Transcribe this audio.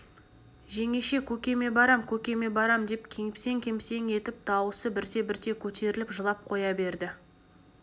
жеңеше көкеме барам көкеме барам деп кемсең-кемсең етіп дауысы бірте-бірте көтеріліп жылап қоя берді